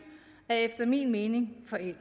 er efter min mening forældet i